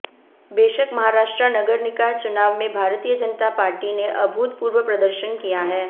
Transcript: बेशक महाराष्ट्र नगर निकाय चुनाव में भारतीय जनता पार्टी ने अभूतपूर्व प्रदर्शन किया है